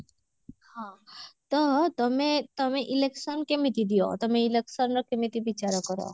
ହଁ ତ ତମେ ତମେ election କେମିତି ଦିଅ ତମେ election ର କେମିତି ବିଚାର କର?